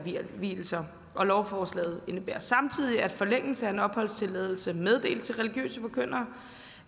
vielser lovforslaget indebærer samtidig at forlængelse af en opholdstilladelse meddelt til religiøse forkyndere